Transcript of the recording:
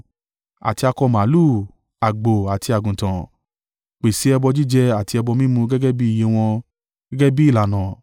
Àti akọ màlúù, àgbò àti àgùntàn, pèsè ẹbọ jíjẹ àti ẹbọ mímu gẹ́gẹ́ bí iye wọn, gẹ́gẹ́ bí ìlànà.